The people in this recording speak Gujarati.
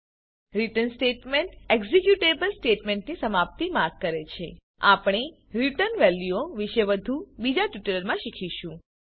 રિટર્ન સ્ટેટમેંટ એક્ઝીક્યુટેબલ સ્ટેટમેંટની સમાપ્તિ માર્ક કરે છે આપણે રીટર્ન વેલ્યુઓ વિશે વધુ બીજા ટ્યુટોરીયલમાં શીખીશું